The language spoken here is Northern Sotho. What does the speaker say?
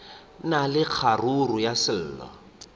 na le kgaruru ya selo